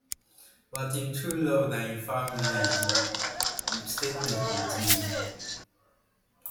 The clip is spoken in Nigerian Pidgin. but im true love na im family di um statement continue